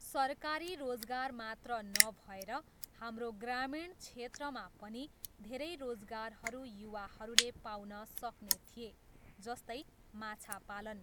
सरकारी रोजगार मात्र नभएर हाम्रो ग्रामीण क्षेत्रमा पनि धेरै रोजगारहरू युवाहरूले पाउन सक्ने थिए, जस्तै, माछा पालन।